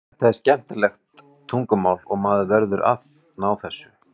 Þetta er skemmtilegt tungumál og maður verður að ná þessu.